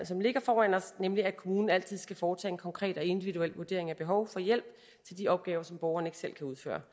som ligger foran os nemlig at kommunen altid skal foretage en konkret og individuel vurdering af behovet for hjælp til de opgaver som borgeren ikke selv kan udføre